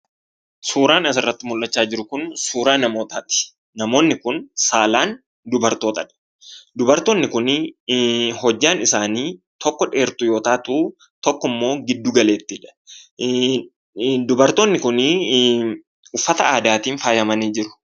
Suuraan as irratti mul'achaa jiru Kun suuraa namootaati. Namootni Kun saalaan dubartootaa dha. Dubartootni kunneen hojjaan isaanii tokko dheertuu yoo taatuu tokko immoo giddu galeettii dha. Akkasumas faayyaa garaa gariin faayyamanii kan jiranii dha.